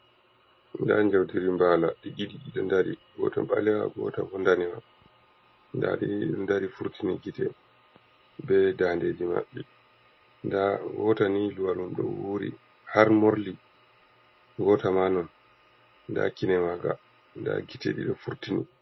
Nda njaudiri mbala ɗi ɗiɗi ɗi ɗo ndari. Ngota ɓalewa, ngota ndanewa. Nda ɗi ɗiɗo ndari furtini gite be dandeji maɓɓe. Nda ngota ni luwal mum ɗo wuri har morli, ngota ma non. Nda kine maga, nda gite ɗiɗo furtini.